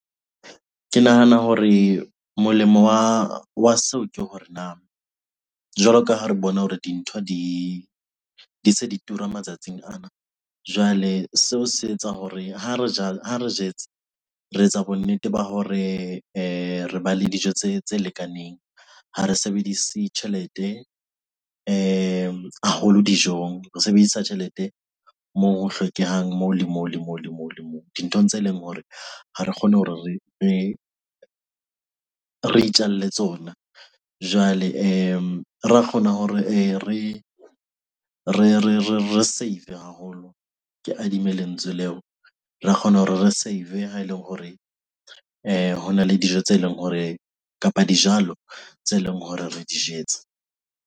Ke nahana hore molemo wa seo ke hore na jwalo ka ha re bona hore dintho di se di tura matsatsing ana? Jwale seo se etsa hore ha re jala, ha re jetse re etsa bonnete ba hore re ba le dijo tse tse lekaneng. Ha re sebedise tjhelete e ngata haholo dijong, re sebedisa tjhelete moo ho hlokehang moo, le moo le moo, le moo, dinthong tse leng hore ha re kgone hore re itjalle tsona. Jwale ra kgona hore re save-e haholo, ke adimme lentswe leo. Re a kgona hore re save-e ha ele hore hona le dijo tse leng hore kapa dijalo tse leng hore re di jetse.